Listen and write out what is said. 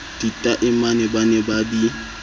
ditaemane ba ne ba di